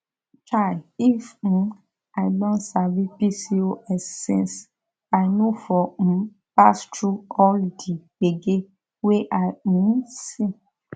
chai if um i don sabi pcos since i no for um pass through all the gbege wey i um see